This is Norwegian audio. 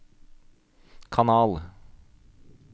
kanal